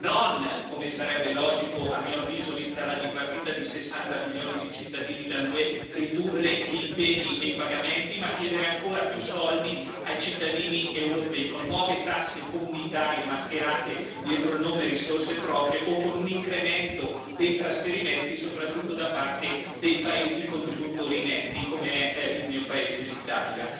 Non, come sarebbe logico, a mio avviso, vista la dipartita di 60 milioni di cittadini dall'UE, ridurre gli impegni e i pagamenti, ma chiedere ancora più soldi ai cittadini europei con nuove tasse comunitarie mascherate dietro il nome risorse proprie o con un incremento dei trasferimenti, soprattutto da parte dei paesi contributori netti come il mio paese, l'Italia.